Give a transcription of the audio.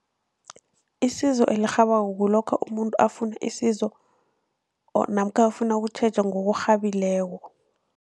Isizo elirhabako kulokha umuntu afuna isizo or namkha afuna ukutjhejwa ngokurhabileko.